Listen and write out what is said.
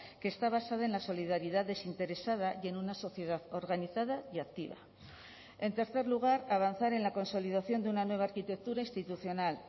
que está basada en la solidaridad desinteresada y en una sociedad organizada y activa en tercer lugar avanzar en la consolidación de una nueva arquitectura institucional